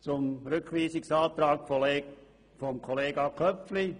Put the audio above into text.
Zum Rückweisungsantrag von Kollege Köpfli: